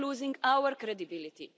We are losing our credibility.